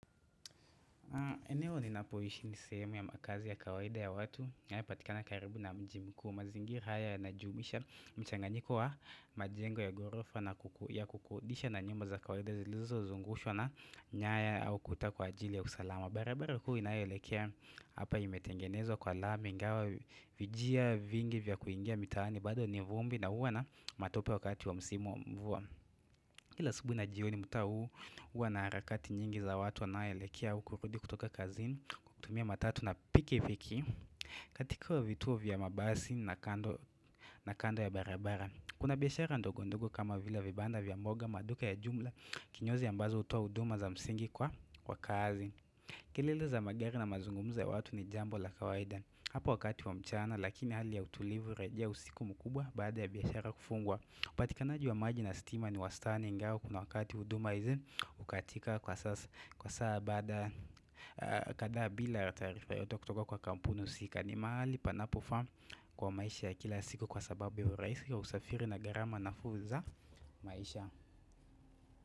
Eneo ni napoishi ni sehemu ya makazi ya kawaida ya watu inayo patikana karibu na mjii mkuu mazingira haya yana jumuisha mchanganyiko wa majengo ya gorofa na ku yakukodisha na nyumba za kawaida zilizo zungushwa na nyaya au kuta kwa ajili ya usalama barabara huu inayoelekea hapa imetengenezwa kwa lami ingawa vijia vingi vya kuingia mitaani bado ni vumbi na huwa na matope wakati wa msimu wa mvua Kila asubuhi na jioni mtaa huu uwa na harakati nyingi za watu wanaoelekea huku kurudi kutoka kazini kutumia matatu na piki piki katika wa vituo vya mabasi na kando ya barabara. Kuna biashara ndogo ndogo kama vile vibanda vya mboga maduka ya jumla kinyozi ambazo utoa huduma za msingi kwa kazi. Kelele za magari na mazungumzo ya watu ni jambo la kawaida hapa wakati wa mchana lakini hali ya utulivu hurejea usiku mkubwa baada ya biashara kufungwa. Upatikanaji wa maji na stima ni wa stani ingawa kuna wakati huduma hizi ukatika kwa saa baada kadhaa bila taarifa yote kutoka kwa kampunu husika ni mahali panapofaa kwa maisha ya kila siku kwa sababu ya urahisi ya usafiri na garama nafuu za maisha.